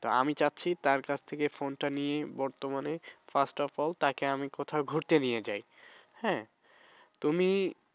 তা আমি চাচ্ছি তার কাছ থেকে phone নিয়ে বর্তমানে first of all তাকে আমি কোথাও ঘুরতে নিয়ে যাই। হ্যাঁ তুমি